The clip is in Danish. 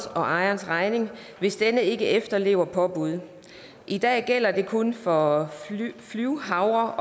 ejers regning hvis denne ikke efterlever påbud i dag gælder det kun for flyvehavre